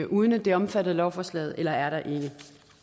uden at det er omfattet af lovforslaget eller er der ikke